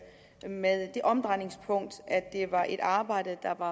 det med det omdrejningspunkt at det var et arbejde der var